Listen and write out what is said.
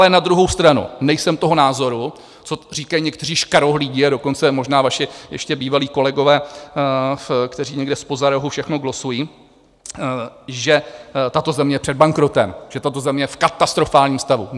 Ale na druhou stranu nejsem toho názoru, co říkají někteří škarohlídi, a dokonce možná vaši ještě bývalí kolegové, kteří někde zpoza rohu všechno glosují, že tato země je před bankrotem, že tato země je v katastrofálním stavu.